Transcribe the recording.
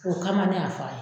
O kama ne y'a fara.